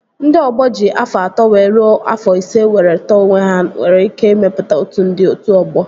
Ndị ọgbọ ji afọ atọ wee rue afọ ise were tọọ onwe ha nwere ike ịmepụta otu ndị otu ọgbọ